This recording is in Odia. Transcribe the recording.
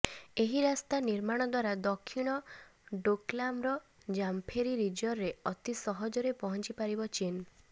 ଏହି ରାସ୍ତା ନିର୍ମାଣ ଦ୍ୱାରା ଦକ୍ଷିଣ ଡୋକଲାମର ଜାମଫେରି ରିଜରେ ଅତି ସହଜରେ ପହଂଚିପାରିବ ଚୀନ